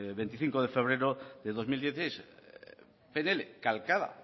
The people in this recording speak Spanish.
veinticinco de febrero de dos mil dieciséis pnl calcada